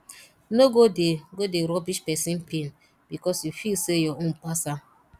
no go dey go dey rubbish pesin pain bikos yu feel sey yur own pass am